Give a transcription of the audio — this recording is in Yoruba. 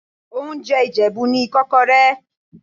Oúnjẹ Ìjẹ̀bú ni Ìkọ́kọrẹ́.